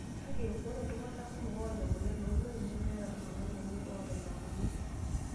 Kake, ore iltungana kumok oota emoyian ooloik nemeeta iltung'ana lenye oota ina moyian.